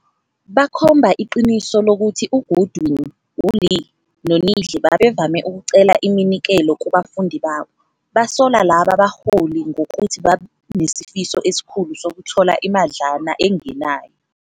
Bakhomba iqiniso lokuthi uGoodwin, uLee, noNidle babevame ukucela iminikelo kubafundi babo, basola laba baholi ngokuthi banesifiso esikhulu sokuthola imadlana engenayo.